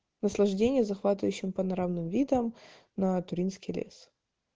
наслаждение захватывающим панорамным видом на туринский лес